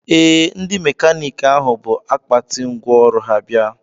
Ee, ndị mekaniiki ahụ bụ akpati ngwaọrụ ha bịa